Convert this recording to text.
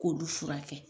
K'olu furakɛ